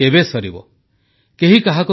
ଏହି ସମୟ ମଧ୍ୟରେ ଆମେ ଅନେକ ବିଷୟ ଉପରେ ଆଲୋଚନା କରିଛୁ